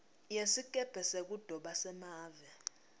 yesikebhe sekudoba semave